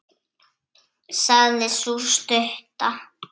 sagði sú stutta.